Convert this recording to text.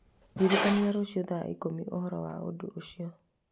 ndĩririkania rũciũ thaa ikũmi ũhoro wa ũndũ ũcio.